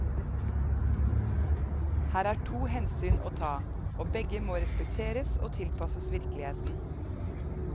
Her er to hensyn å ta, og begge må respekteres og tilpasses virkeligheten.